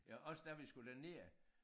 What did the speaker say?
Jo også da vi skulle derned